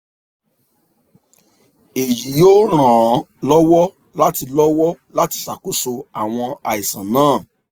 èyí yóò ràn án lọ́wọ́ láti lọ́wọ́ láti ṣàkóso àwọn àìsàn náà